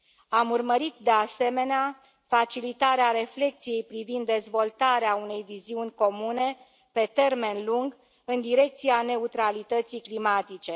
Am urmărit, de asemenea, facilitarea reflecției privind dezvoltarea unei viziuni comune pe termen lung în direcția neutralității climatice.